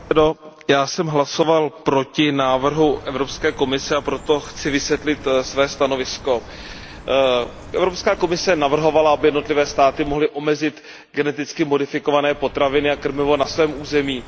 Pane předsedající, já jsem hlasoval proti návrhu Evropské komise, a proto chci vysvětlit své stanovisko. Evropská komise navrhovala, aby jednotlivé státy mohly omezit geneticky modifikované potraviny a krmivo na svém území.